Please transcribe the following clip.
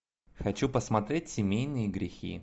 хочу посмотреть семейные грехи